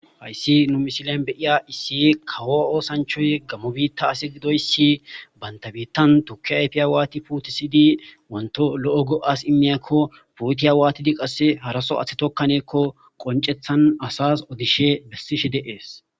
Hayssi nu misilen beyiya issiy kawo oosanchoy gammo biitta asi gidoyssi bandabiittan tukki ayfiyaawaati putisidi wanto lo'o go'as immiyakko puutiya waatidi qasse haraso aththe tokkaneekko qoncethan asas odishe bessishe deees.